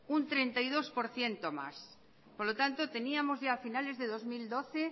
un treinta y dos por ciento más por lo tanto teníamos a finales de dos mil doce